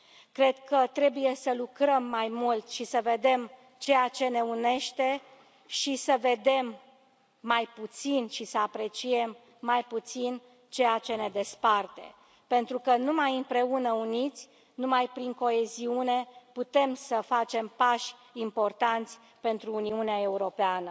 Cred că trebuie să lucrăm mai mult și să vedem ceea ce ne unește și să vedem mai puțin și să apreciem mai puțin ceea ce ne desparte, pentru că, numai împreună, uniți, numai prin coeziune, putem să facem pași importanți pentru Uniunea Europeană.